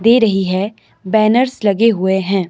दे रही है बैनर्स लगे हुए हैं।